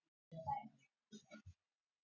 Troði niður gleðina.